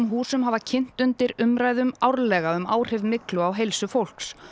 húsum hafa kynt undir umræðum árlega um áhrif myglu á heilsu fólks